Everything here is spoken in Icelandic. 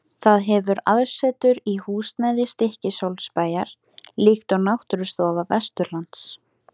Það hefur aðsetur í húsnæði Stykkishólmsbæjar, líkt og Náttúrustofa Vesturlands.